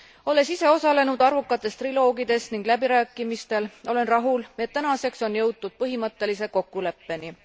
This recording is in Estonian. Olles ise osalenud arvukates triloogides ning läbirääkimistel, olen rahul, et tänaseks on jõutud põhimõttelise kokkuleppeni.